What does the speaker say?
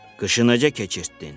Qışını necə keçirtdin?